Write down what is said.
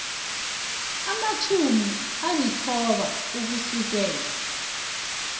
amatjhumi alithoba ukusukela